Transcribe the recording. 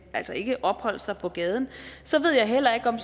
altså ikke opholde sig på gaden så ved jeg heller ikke om